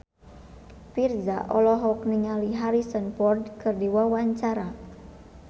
Virzha olohok ningali Harrison Ford keur diwawancara